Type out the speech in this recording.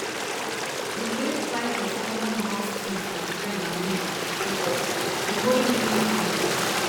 de way price of common house things like bread and milk dey go up dey worry many families